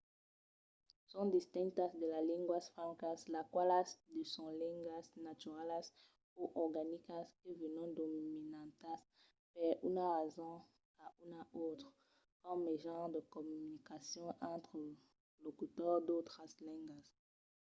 son distintas de las linguas francas las qualas son de lengas naturalas o organicas que venon dominantas per una rason o una autra coma mejan de comunicacion entre de locutors d’autras lengas